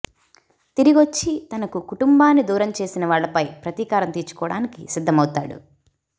తిరిగొచ్చి తనకు కుటుంబాన్ని దూరం చేసిన వాళ్లపై ప్రతీకారం తీర్చుకోవడానికి సిద్ధమవుతాడు